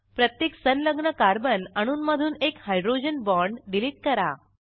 प्रत्येक संलग्न कार्बन अणूंमधून एक हायड्रोजन बाँड डिलीट करा